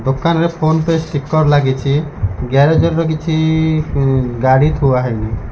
ଦୋକାନରେ PhonePe sticker ଲାଗିଛି। Garage ର କିଛି ଗାଡ଼ି ଥୁଆ ହେଇ --